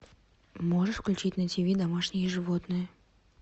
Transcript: можешь включить на тв домашние животные